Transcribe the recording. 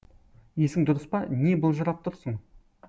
есің дұрыс па не былжырап тұрсың